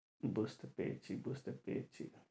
বুঝতে পেরেছি বুঝতে পেরেছি